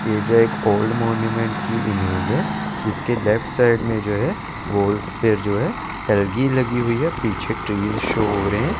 ये जो हैं एक ओल्ड मोन्यूमेंट की इमेज हैं जिसके लेफ्ट साइड में जो हैं ओल्स पे जो हैं एल्गी लगी हुई हैं पीछे ट्री शो हो रहे हैं।